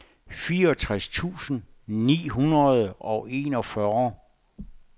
fireogtres tusind ni hundrede og enogfyrre